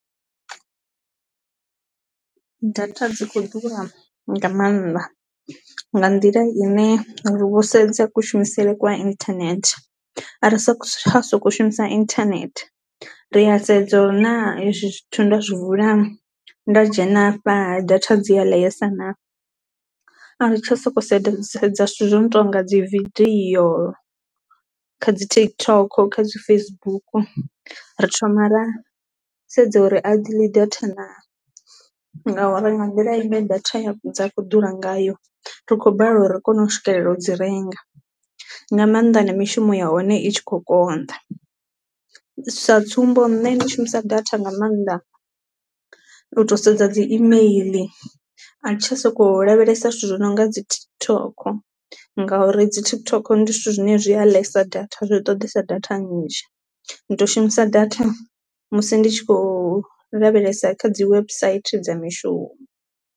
Data dzi kho ḓura nga maanḓa nga nḓila ine ri vh, se kushumisele kwa internet a ri tsha sokou shumisa internet, ri a sedze uri na ezwi zwithu nda zwi vula nda dzhena afha data dzi a ḽeesa na, a ri tsha sokou sedze sedza. Zwithu zwi no tonga dzi video kha dzi TikTok kha dzi Facebook ri thoma ra sedza uri a dzi ḽi data naa, ngauri nga nḓila i ne data dza kho ḓura ngayo ri khou balelwa u ri kone u swikelela u dzi renga, nga maanḓa na mishumo ya hone i tshi kho konḓa sa tsumbo nṋe ndi shumisa data nga mannḓa u to sedza dzi email a thi tsha soko lavhelesa zwithu zwi no nga dzi TikTok ngauri dzi TikTok ndi zwithu zwine zwi a ḽesa data zwi ṱoḓesa data nnzhi. Ndi to shumisa data musi ndi tshi kho lavhelesa kha dzi website dza mishumo.